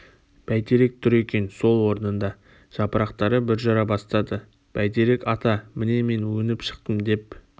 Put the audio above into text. бәйтерек тұр екен сол орнында жапырақтары бүр жара бастады бәйтерек ата міне мен өніп шықтым деп